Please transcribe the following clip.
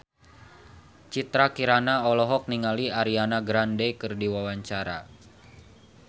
Citra Kirana olohok ningali Ariana Grande keur diwawancara